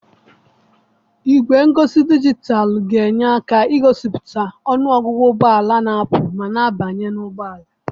Igwe ngosi dijitalụ ga-enye aka igosipụta ọnụ ọgụgụ ụgbọ ala na-apụ ma na-abanye n'ụgbọala.